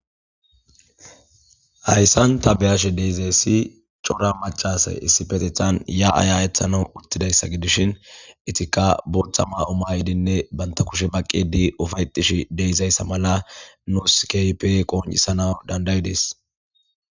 hayssan ta beyashe deizayssi cora macasay issi petethan ya7aya ethana uttidayssa gidishin itikka burtha ma7umayidinne banta kushe baqqidi ufaytish deyizayssa mala nuuskype qoonisana dandayi dees